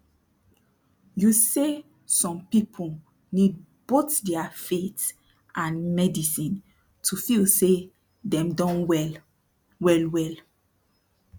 you say som people need both dia faith and medicine to feel say dem don wel welwel